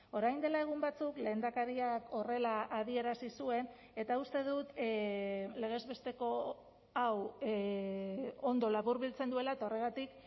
orain dela egun batzuk lehendakariak horrela adierazi zuen eta uste dut legez besteko hau ondo laburbiltzen duela eta horregatik